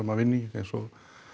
að vinna í eins og